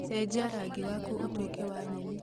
cenjia rangi waku ũtuĩke wa nyeni